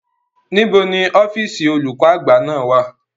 Níbo ni ọ́fíìsì olùkó àgbà náà wà?